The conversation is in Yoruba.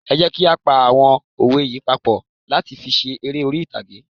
Ẹ jẹ́ kí á pa àwọn òwe yí papọ̀ láti fi ṣe eré orí ìtàgé.